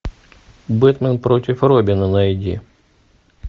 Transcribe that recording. бэтмен против робина найди